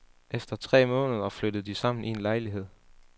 Efter tre måneder flyttede de sammen i en lejlighed.